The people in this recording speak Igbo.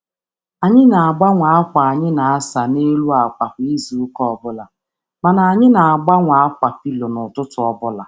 Anyị na-agbanwe ákwà akwa kwa izu, ma na-eme na-eme ka ọkpọ akwa dị mma kwa ụtụtụ.